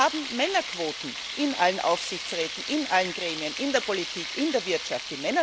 Wir haben Männerquoten in allen Aufsichtsräten, in allen Gremien, in der Politik, in der Wirtschaft.